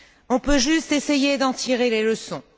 On peut juste essayer d'en tirer les leçons.